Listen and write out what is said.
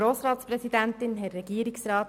Kommissionssprecherin